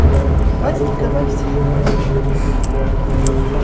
साड़ी पहनी हुई है और एक व्यक्ति फ्रॉक पहनी हुई है।